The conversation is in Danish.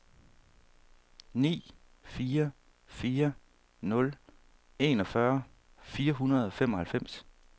ni fire fire nul enogfyrre fire hundrede og femoghalvfems